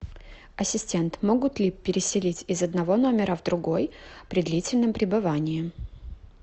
ассистент могут ли переселить из одного номера в другой при длительном пребывании